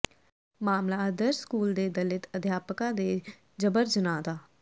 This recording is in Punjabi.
ਮਾਮਲਾ ਆਦਰਸ਼ ਸਕੂਲ ਦੇ ਦਲਿਤ ਅਧਿਆਪਕਾ ਦੇ ਜਬਰ ਜਨਾਹ ਦਾ